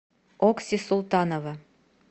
окси султанова